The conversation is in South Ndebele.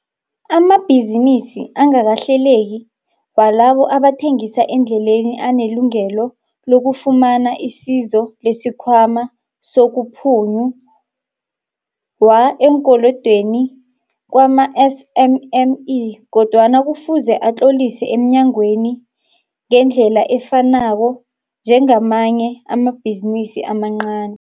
Amabhizinisi angakahleleki walabo abathengisa endleleni anelungelo lokufumana isizo lesiKhwama sokuPhunyu-wa eeNkolodweni kwama-SMME kodwana kufuze atlolise emnyangweni ngendlela efanako njengamanye amabhizinisi amancani.